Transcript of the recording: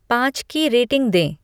पाँच की रेटिंग दें